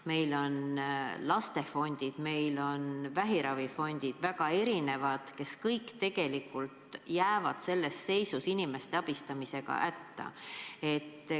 Meil on lastefond, meil on vähiravifond – väga erinevad fondid, kes tegelikult jäävad selles seisus inimeste abistamisega hätta.